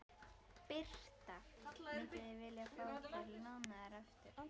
Birta: Mynduð þið vilja fá þær lánaðar aftur?